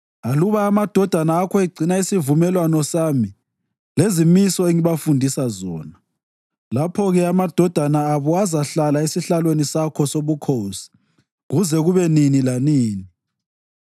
aluba amadodana akho egcina isivumelwano sami lezimiso engibafundisa zona, lapho-ke amadodana abo azahlala esihlalweni sakho sobukhosi kuze kube nini lanini.”